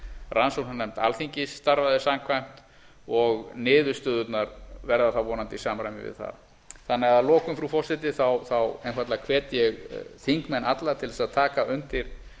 rannsóknarnefnd alþingis starfaði samkvæmt og niðurstöðurnar verða þá vonandi í samræmi við það að lokum frú forseti einfaldlega hvet ég þingmenn alla til þess að taka undir